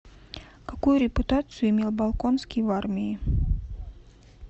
какую репутацию имел болконский в армии